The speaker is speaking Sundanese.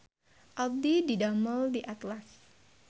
Abdi didamel di Atlas